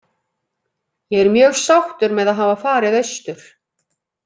Ég er mjög sáttur með að hafa farið austur.